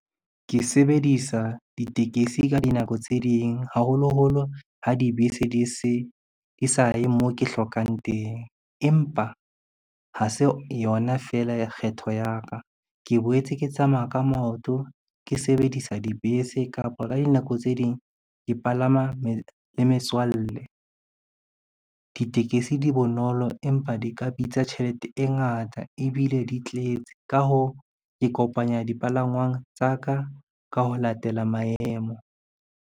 Ke sebedisa ditekesi ka dinako tse ding, haholoholo ha dibese di sa ye moo ke hlokang teng, empa ha se yona fela kgetho ya ka. Ke boetse ke tsamaya ka maoto, ke sebedisa dibese kapa ka dinako tse ding ke palama le metswalle. Ditekesi di bonolo, empa di ka bitsa tjhelete e ngata ebile di tletse. Ka hoo, ke kopanya dipalangwang tsa ka, ka ho latela maemo.